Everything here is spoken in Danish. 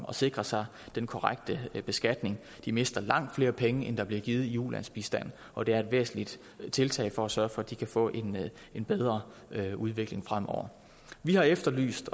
at sikre sig den korrekte beskatning de mister langt flere penge end der bliver givet i ulandsbistand og det er et væsentligt tiltag for at sørge for at de kan få en en bedre udvikling fremover vi har efterlyst